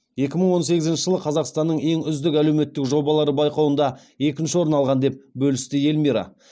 екі мың он сегізінші жылы қазақстанның ең үздік әлеуметтік жобалары байқауында екінші орын алған деп бөлісті эльмира